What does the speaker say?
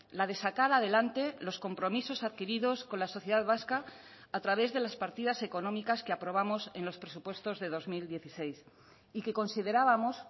la de sacar adelante los compromisos adquiridos con la sociedad vasca a través de las partidas económicas que aprobamos en los presupuestos de dos mil dieciséis y que considerábamos